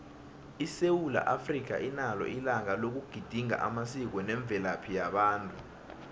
isewula africa inalo ilanga loku gedinga amasiko nemvelaphi yabantu